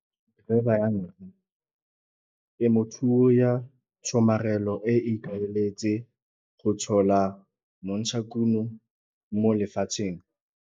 Grabber 1 - Temothuo ya tshomarelo e ikaeletse go tshola montshakuno mo lefatsheng.